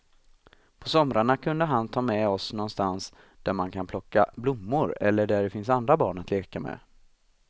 På somrarna kunde han ta med oss någonstans där man kan plocka blommor eller där det finns andra barn att leka med.